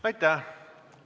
Aitäh!